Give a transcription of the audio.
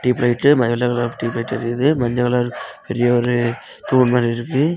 Tubelight மேல ஒரு tubelight எரியுது மஞ்ச கலர் பெரிய ஒரு தூண் மாதிரி இருக்கு.